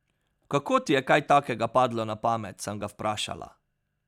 Kako ti je kaj takega padlo na pamet, sem ga vprašala.